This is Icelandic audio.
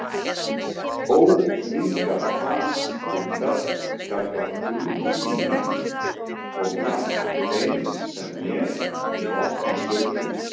Óþvingað fas Hildar gagnvart kunningjum mínum kom jafnt þeim sem mér í opna skjöldu.